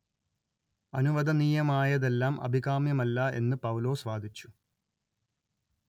അനുവദനീയമായതെല്ലാം അഭികാമ്യമല്ല എന്ന് പൗലോസ് വാദിച്ചു